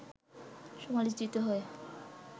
সমালোচিত হয়